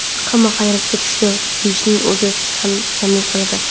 Hamma hayratga tushdi deyishning o‘zi kamlik qiladi.